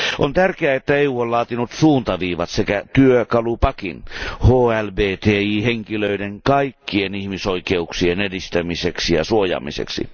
On tärkeää, että EU on laatinut suuntaviivat sekä työkalupakin HLBTI henkilöiden kaikkien ihmisoikeuksien edistämiseksi ja suojaamiseksi.